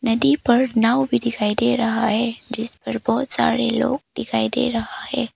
नदी पर नाव भी दिखाई दे रहा है जिस पर बहुत सारे लोग दिखाई दे रहा है।